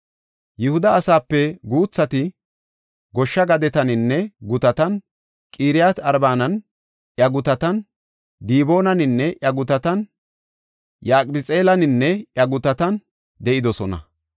Yihuda asaape guuthati goshsha gadetaninne gutatan, Qiriyaat-Arbaninne iya gutatan, Diboonaninne iya gutatan, Yaqabxi7eelaninne iya gutatan de7idosona.